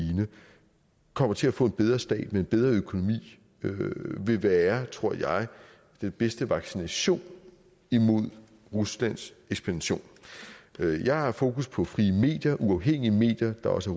kommer til at få en bedre stat med en bedre økonomi vil være tror jeg den bedste vaccination imod ruslands ekspansion jeg har fokus på frie medier uafhængige medier der også